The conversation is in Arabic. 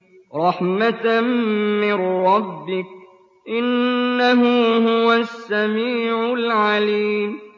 رَحْمَةً مِّن رَّبِّكَ ۚ إِنَّهُ هُوَ السَّمِيعُ الْعَلِيمُ